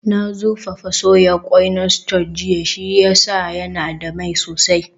Na zurfafa soya ƙwai na scotch jiya, shi ya sa yana da mai sosai